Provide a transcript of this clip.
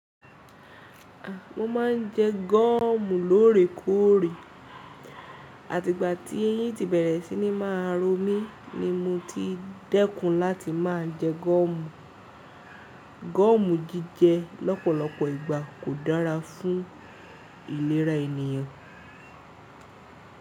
Mo má ń jẹ gomu lórèkóòrè àti ìgbà tí eyín ti bẹ̀rẹ̀ sí ní má romi ni mo ti dẹ́kun láti má jẹ gomu. Gomu jíjẹ lọ́pọ̀lọpọ̀ ìgbà kò dára fún ìlera ènìyàn.